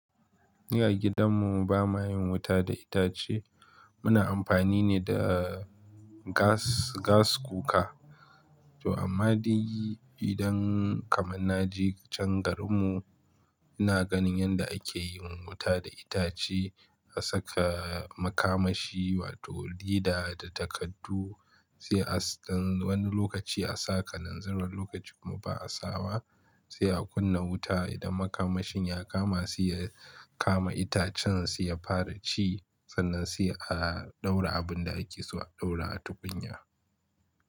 Ni a gidan mu ba mayin wuta da itace muna amfani ne da gas, gas cooker. To amma idan kamar na je can garin mu ina ganin yanda ake yin wuta da itace. A saka makamashi wato leda da takardu sai a wani lokaci a saka, kanazirn wani lokaci kuma ba a sawa. Sai a kunna wuta idan makamashin ya kama sai ya kama itacen sai ya fara ci. Sannan sai a daura abin da ake so a daura a tukunya.